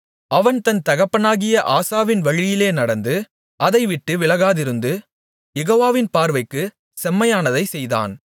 அவன் தன் தகப்பனாகிய ஆசாவின் வழியிலே நடந்து அதைவிட்டு விலகாதிருந்து யெகோவாவின் பார்வைக்குச் செம்மையானதைச் செய்தான்